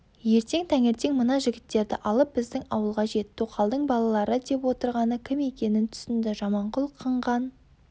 ертең таңертең мына жігіттерді алып біздің ауылға жет тоқалдың балалары деп отырғаны кім екенін түсінді жаманқұл қыңған